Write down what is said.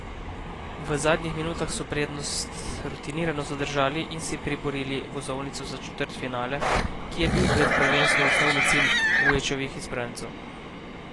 V zadnjih desetih minutah so prednost rutinirano zadržali in si priborili vozovnico za četrtfinale, ki je bil pred prvenstvom osnovni cilj Vujovićevih izbrancev.